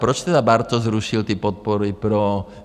Proč tedy Bartoš zrušil ty podpory pro...